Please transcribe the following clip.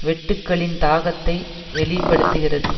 வெட்டுக்களின் தாக்கத்தை வெளி படுத்துகிறது